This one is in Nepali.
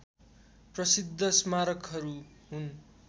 प्रशिद्ध स्मारकहरू हुन्